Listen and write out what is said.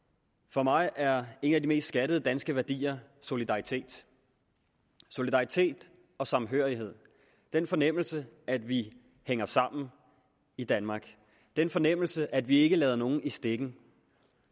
for mig er en af de mest skattede danske værdier solidaritet solidaritet og samhørighed den fornemmelse at vi hænger sammen i danmark den fornemmelse at vi ikke lader nogen i stikken